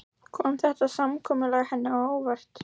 Kom þetta samkomulag henni á óvart?